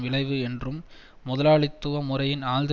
விளைவு என்றும் முதலாளித்துவ முறையின் ஆழ்ந்த